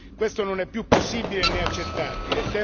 Questo non è più possibile né accettabile